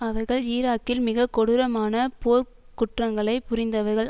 அவர்கள் ஈராக்கில் மிகக்கொடூரமான போர்க் குற்றங்களை புரிந்தவர்கள்